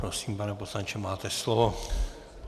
Prosím, pane poslanče, máte slovo.